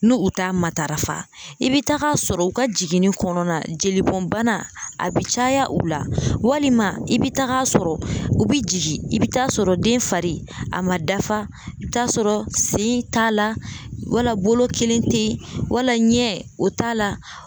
N'u u t'a matarafa i bɛ tag'a sɔrɔ u ka jiginni kɔnɔna na jelibɔnbana a bɛ caya u la, walima i bɛ taa sɔrɔ u bɛ jigin i bɛ taa sɔrɔ den fari a ma dafa, i bɛ taa sɔrɔ sen t'a la, wala bolo kelen tɛ yen, wala ɲɛ o t'a la.